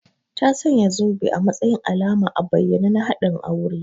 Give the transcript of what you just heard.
Ta sanya zobe a matsayin alama a bayyane na haɗin aure